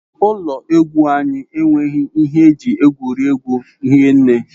Ụlọ egwu anyị enweghị ihe eji egwuri egwu hinne.